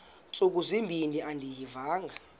ntsuku zimbin andiyivanga